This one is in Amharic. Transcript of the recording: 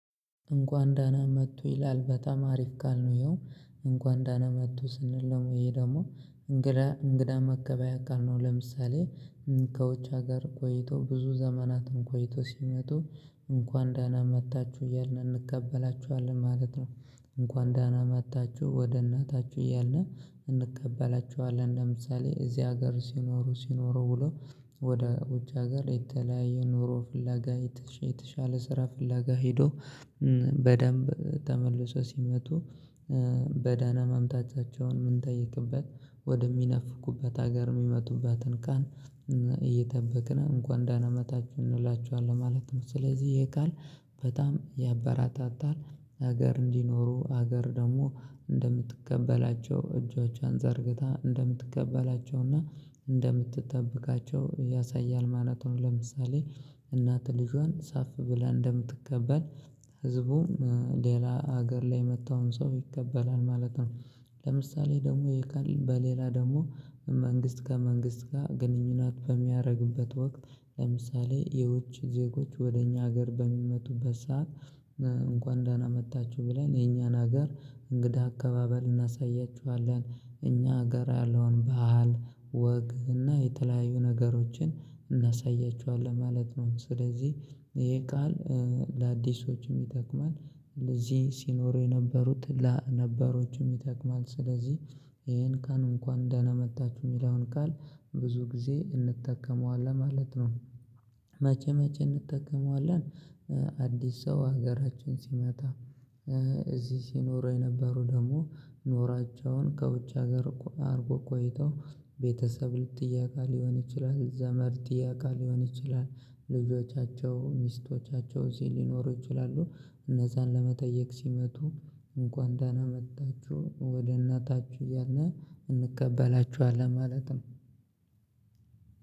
እንኳን ደህና መጡ ይላል በጣም አሪፍ ቃል ይኸው እንኳን ደህና መጡ ስንለው ወይ ደግሞ እንግዳ እንግዳ መቀበያ አቃለሁ ለምሳሌ ከውጭ ሀገር ቆይቶ ብዙ ዘመናትን ቆይቶ ሲመጡ እንኳን ደህና ና መጥታችሁ እያልን እንቀበላቸ ኋለን ማለት ነው። እንኳን ዳና መጥችሁ ወደ እናታችሁ እያልን እንቀበላቸኋለን ለምሳሌ እዚህ ሀገር ሲኖሩ ሲኖሩ ብሎ ወደ ውጭ ሀገር የተለያየ ኑሮ ፍላጋ የተሻለ ስራ ፍላጋ ሄዶ በደንብ ተመልሶ ሲመጡ። በደህና መምጣታቸውን ምንጠይክበት ወደሚናፍቁበት ሀገር የሚመጡበትን ቃል እየጠበቅን እንኳን ደህና መጣችሁ እንላቸኋለን ማለት ነው። ስለዚህ ይሄ ቃል በጣም ያበራታታል ሀገር እንዲኖሩ ሀገር ደግሞ እንደምትቀበላቸው እጆቿን ዘርግታ እንደምትቀበላቸውና እንደምትጠብቃቸው ያሳያል ማለት ነው። ለምሳሌ እናት ልጇን ሰፍ ብላ እንደምትቀበል ህዝቡም ሌላ ሀገር ላይ የመጣውን ሰው ይቀበላል ማለት ነው። ለምሳሌ ደግሞ ይሄ ቃል በሌላ ደግሞ መንግስት ከመንግስት ጋር ግንኙነት በሚያደርግበት ወቅት ለምሳሌ የውጭ ዜጎች ወደ እኛ ሀገር በሚመጡበት ሰዓት። እንኳን ደህና መጥታችሁ ብለን የእኛን ሀገር እንግዳ አቀባበል እናሳያቸኋለን እኛ ሀገር ያለውን ባህል ወግ እና የተለያዩ ነገሮችን እናሳያቸዋለን ማለት ነው። ስለዚህ ይሄ ቃል ለአዲሶች ይጠቅማል። እንደዚህ ሲኖሩ የነበሩት ነባሮቹም ይጠቅማል። ስለዚህ ይሄን ቃል እንኳን ደህና መጣችሁ የሚለውን ቃል ብዙ ጊዜ እንጠቀመዋለን ማለት ነው። መቼ መቼ እንጠቀመዋለን? አዲስ ሰው ሀገራችን ሲመጣ እዚህ ሲኖሩ የነበሩ ደግሞ ኖራቸውን ከውጭ ሀገር አድርጎ ቆይተው ቤተሰብ ጥየቃ ሊሆን ይችላል። ዘመድ ጥየቃ ሊሆን ይችላል። ልጆቻቸው ሚስቶቻቸው እዚህ ሊኖሩ ይችላሉ። እነዛን ለመጠየቅ ሲመጡ እንኳን ደህና መጣችሁ ወደ እናታችሁ እያልን እንቀበላቸኋለን ማለት ነው።